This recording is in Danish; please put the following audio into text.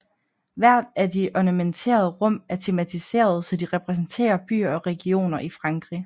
Hvert af de ornamenterede rum er tematiserede så de repræsenterer byer og regioner i frankrig